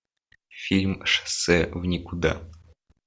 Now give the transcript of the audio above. фильм шоссе в никуда